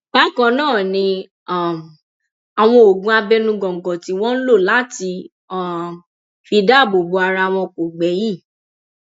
bákan náà ni um àwọn oògùn abẹnú góńgó tí wọn ń lò láti um fi dáàbò bo ara wọn kò gbẹyìn